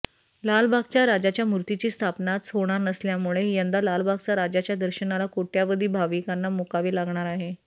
लालबागच्या राजाच्या मूर्तीची स्थापनाच होणार नसल्यामुळे यंदा लालबागचा राजाच्या दर्शनाला कोट्यावधी भाविकांना मुकावे लागणार आहे